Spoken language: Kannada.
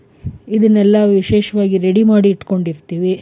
ಇದನ್ನೆಲ್ಲಾ ವಿಶೇಷವಾಗಿ ready ಮಾಡಿ ಇಟ್ಕೊಂಡಿರ್ತೀವಿ.